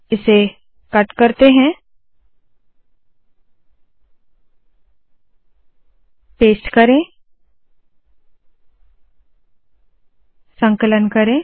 इसे कट करते है पेस्ट करे संकलन करे